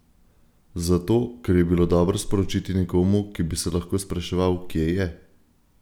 Zato, ker je bilo dobro sporočiti nekomu, ki bi se lahko spraševal, kje je?